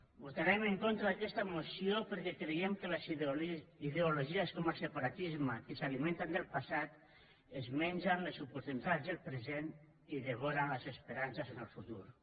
votarem en contra d’aquesta moció perquè creiem que les ideologies com el separatisme que s’alimenten del passat es mengen les oportunitats del present i devoren les esperances en el futur